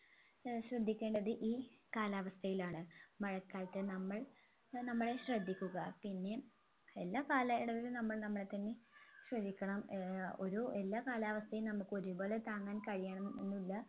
ഏർ ശ്രദ്ധിക്കേണ്ടത് ഈ കാലാവസ്ഥയിലാണ് മഴക്കാലത്ത് നമ്മൾ ഏർ നമ്മളെ ശ്രദ്ധിക്കുക പിന്നെ എല്ലാ കാലയളവിലും നമ്മൾ നമ്മളെ തന്നെ ശ്രദ്ധിക്കണം ഏർ ഒരു എല്ലാ കാലാവസ്ഥയും നമ്മുക്ക് ഒരുപോലെ താങ്ങാൻ കഴിയണമെന്നില്ല